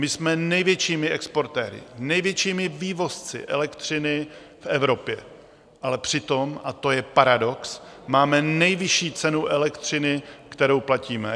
My jsme největšími exportéry, největšími vývozci elektřiny v Evropě, ale přitom, a to je paradox, máme nejvyšší cenu elektřiny, kterou platíme.